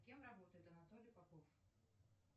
кем работает анатолий попов